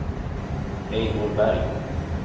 Eivor Berg